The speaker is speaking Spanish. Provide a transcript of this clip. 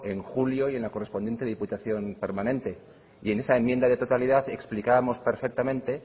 en julio y en la correspondiente diputación permanente y en esa enmienda de totalidad explicábamos perfectamente